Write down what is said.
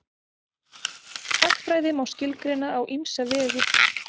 Hagfræði má skilgreina á ýmsa vegu.